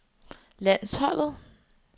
landsholdet